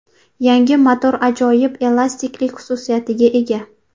Yangi motor ajoyib elastiklik xususiyatiga ega.